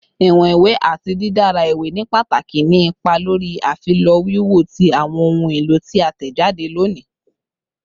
Iwọn iwe ati didara iwe ni pataki ni ipa lori afilọ wiwo ti awọn ohun elo ti a tẹjade loni